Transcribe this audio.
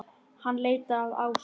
Hann leitar að Ásu.